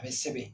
A bɛ sɛbɛn